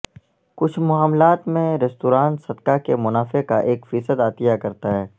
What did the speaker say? کچھ معاملات میں ریستوران صدقہ کے منافع کا ایک فیصد عطیہ کرتا ہے